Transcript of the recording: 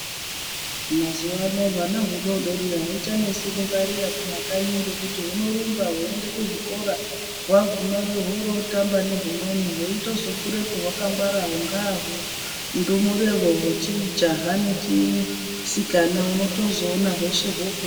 Mazuvano hwana hudodori ahuchanesi kungwarira kumakanyi , ngekuti hunorumba hweiende kuzvikora hwagumeyo hworoo tamba nehumweni hweitozobudepo hwakangwara hungahwo hundumure hwechijaha nechisikana unotozoona hweshe hwofunda.